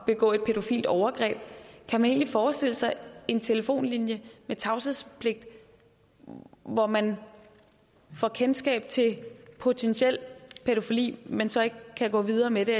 begå et pædofilt overgreb kan man forestille sig en telefonlinje med tavshedspligt hvor man får kendskab til potentiel pædofili men så ikke kan gå videre med det